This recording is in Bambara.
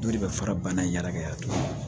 Dɔ de bɛ fara bana in yɛrɛkɛ a turu